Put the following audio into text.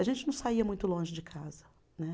A gente não saía muito longe de casa. Né